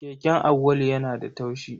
Keken Auwalu yana da taushi.